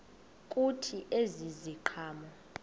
kuthi ezi ziqhamo